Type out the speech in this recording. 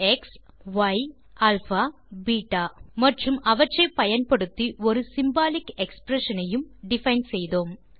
X y alpha மற்றும் beta மற்றும் அவற்றை பயன்படுத்தி ஒரு சிம்பாலிக் எக்ஸ்பிரஷன் ஐயும் டிஃபைன் செய்தோம்